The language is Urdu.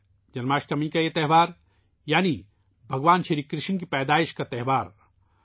جنم اشٹمی کے اس تہوار کو ، بھگوان شری کرشن کی پیدائش کے جشن کے طور پر منایا جاتا ہے